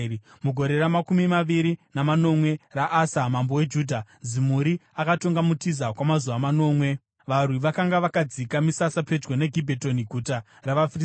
Mugore ramakumi maviri namanomwe raAsa, mambo weJudha, Zimuri akatonga muTiza kwamazuva manomwe. Varwi vakanga vakadzika misasa pedyo neGibhetoni, guta ravaFiristia.